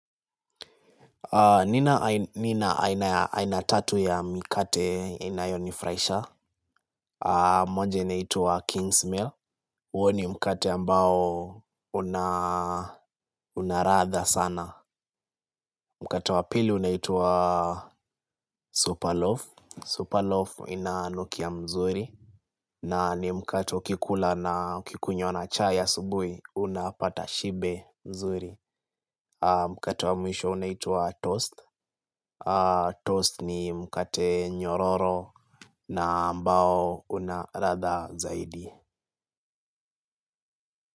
Nina aina tatu ya mikate inayonifuraisha. Moja inaitwa Kingsmill. Uo ni mikate ambao unaradha sana. Mkato wa pili unaitwa Superloaf Superloaf inanukia mzuri. Na ni mkate ukikula na ukikunywa na chai asubuhi unapata shibe nzuri. Mkato wa mwisho unaitwa Toast Toast ni mkate nyororo na ambao unaradha zaidi.